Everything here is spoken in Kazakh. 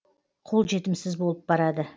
қол жетімсіз болып барады